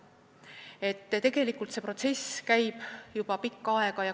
Nii et tegelikult käib see protsess juba pikka aega.